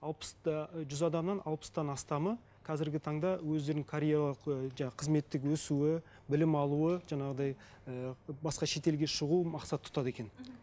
алпыс та ы жүз адамнан алпыстан астамы қазіргі таңда өздерінің карьера жаңа қызметтік өсуі білім алуы жаңағыдай ііі басқа шетелге шығу мақсат тұтады екен